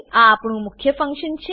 આ આપણું મુખ્ય ફંક્શન છે